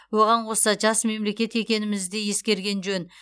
оған қоса жас мемлекет екенімізді де ескерген жөн